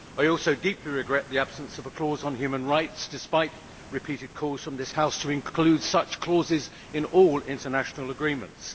I also deeply regret the absence of a clause on human rights, despite repeated calls from this House to include such clauses in all international agreements.